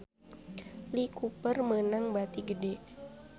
Lee Cooper meunang bati gede